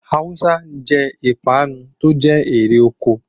Awùsá jẹ́ ipanu tó jẹ́ èrè oko.